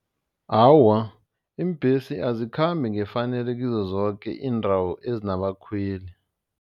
Awa, iimbhesi azikhambi ngefanelo kizo zoke iindawo ezinabakhweli.